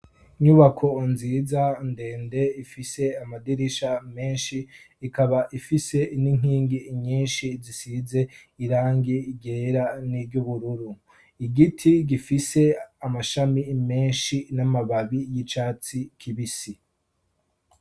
Inyubako nziza ndende ifise amadirisha meshi ikaba ifise n'inkingi nyishi zisize irangi ryera niry'ubururu igiti gifise amashami menshi n'amababi y'icatsi kibisi.